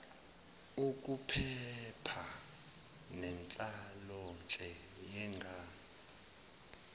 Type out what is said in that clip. ukuphepha nenhlalonhle yengane